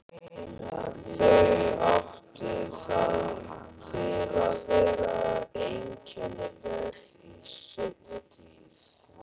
Þau áttu það til að vera einkennileg í seinni tíð.